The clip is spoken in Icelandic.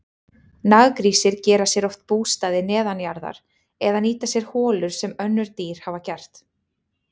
Naggrísir gera sér oft bústaði neðanjarðar eða nýta sér holur sem önnur dýr hafa gert.